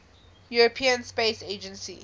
european space agency